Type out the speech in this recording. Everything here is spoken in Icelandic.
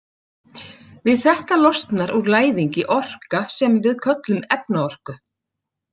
Við þetta losnar úr læðingi orka sem við köllum efnaorku.